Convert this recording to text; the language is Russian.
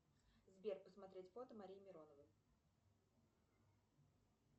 сбер посмотреть фото марии мироновой